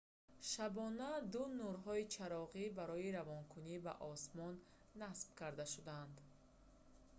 шабона ду нурҳои чароғӣ барои равонакунӣ ба осмон насб карда шуданд